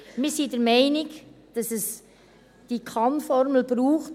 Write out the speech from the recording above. Wir sind der Meinung, dass es diese Kann-Formulierung braucht.